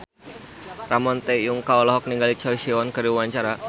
Ramon T. Yungka olohok ningali Choi Siwon keur diwawancara